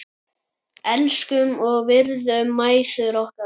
Elskum og virðum mæður okkar.